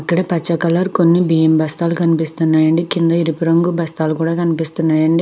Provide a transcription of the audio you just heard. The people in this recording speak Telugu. ఇక్కడ పచ్చ కలర్ కొన్ని బియ్యం బస్తాలు కనిపిస్తున్నాయండి కింద ఎరుపు రంగు బస్తాలు కూడా కనిపిస్తున్నాయండి.